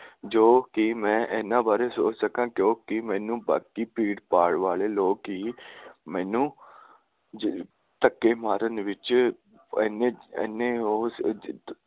ਜੋ ਕਿ ਮੈਂ ਇਹਨਾਂ ਬਾਰੇ ਸੋਚ ਸਕਾਂ ਕਿਉਕਿ ਮੈਨੂੰ ਬਾਕੀ ਭੀੜ ਭਾੜ ਵਾਲੇ ਲੋਕ ਹੀ ਮੈਨੂੰ ਧੱਕੇ ਮਾਰਨ ਵਿਚ ਇਹਨੇ ਉਹੋ